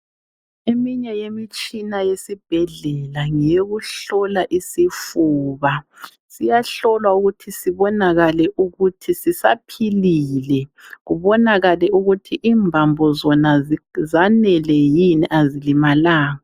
Eminye yemitshina yesibhedlela ngeyokuhlola isifuba siyahlolwa ukuthi sibonakale ukuthi sisaphilile kubonakale ukuthi imbambo zona zanele yini ezibonakalanga.